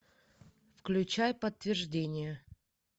включай подтверждение